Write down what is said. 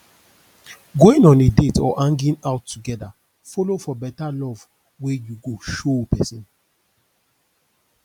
going on a date or hanging out together follow for beta love wey you go show pesin